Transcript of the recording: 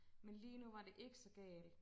Men lige nu var det ikke så galt